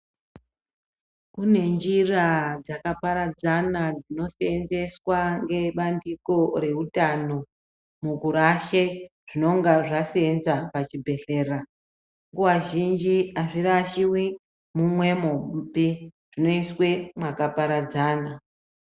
Kune njira dzakaparadzana dzinoseenzswa ngebandiko reutano mukurashe zvinonga zvaseenza pachibhehlera. Nguva zhinji hazvirashiwi mumwemopi, zvinoiswe mwakaparadzana.